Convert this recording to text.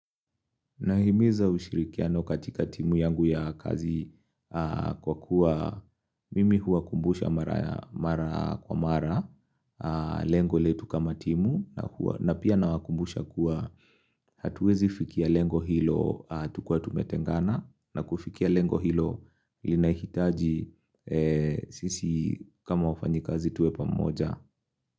Nahimiza ushirikiano katika timu yangu ya kazi kwa kuwa mimi huwakumbusha mara kwa mara lengo letu kama timu na pia nawakumbusha kuwa hatuwezi fikia lengo hilo tukiwa tumetengana na kufikia lengo hilo linahitaji sisi kama wafanyikazi tuwe pamoja.